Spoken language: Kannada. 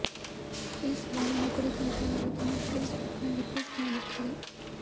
ಈ ಸವಾಲಿನ ಕುರಿತಂತೆ ಅವರು ತಮ್ಮ ಫೇಸ್ ಬುಕ್ ನಲ್ಲಿ ಪೋಸ್ಟ್ ಮಾಡಿದ್ದಾರೆ